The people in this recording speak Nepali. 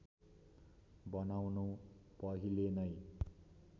बनाउनु पहिले नै